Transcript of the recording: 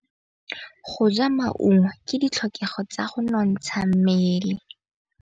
Go ja maungo ke ditlhokegô tsa go nontsha mmele.